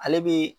Ale bɛ